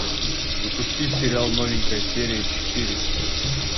запусти сериал новенькая серия четыре